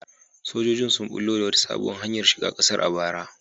Sojojin sun bullo da wata sabuwar hanyar shiga kasar a bara.